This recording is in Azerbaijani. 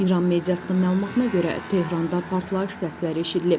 İran mediasının məlumatına görə Tehranda partlayış səsləri eşidilib.